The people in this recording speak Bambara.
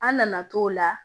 An nana t'o la